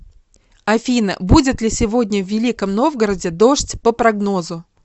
афина будет ли сегодня в великом новгороде дождь по прогнозу